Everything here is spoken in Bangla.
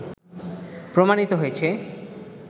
প্রমাণিত হয়েছে